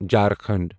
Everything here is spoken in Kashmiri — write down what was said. جھارکھنڈ